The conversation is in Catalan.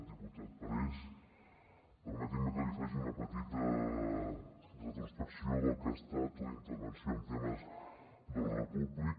diputat parés permeti’m que li faci una petita retrospecció del que ha estat la intervenció en temes d’ordre públic